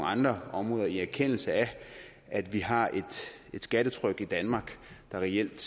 andre områder i erkendelse af at vi har et skattetryk i danmark der reelt